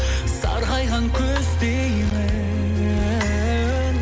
сарғайған күздеймін